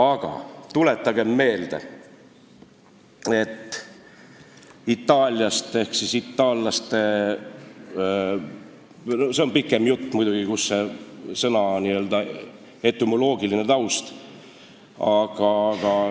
Aga tuletagem meelde Itaaliat või siis itaallasi – see on muidugi pikem jutt –, tuletagem meelde selle sõna etümoloogilist tausta.